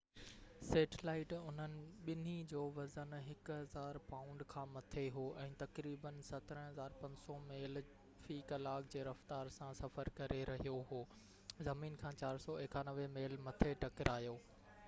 satellite انهن ٻنهي جو وزن 1،000 پائونڊ کا مٿي هو، ۽ تقريباً 17،500 ميل في ڪلاڪ جي رفتار سان سفر ڪري رهيو هو، زمين کان 491 ميل مٿي ٽڪرايو